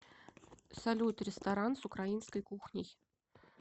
салют ресторан с украинской кухней